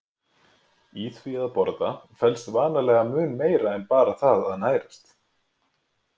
Í því að borða felst vanalega mun meira en bara það að nærast.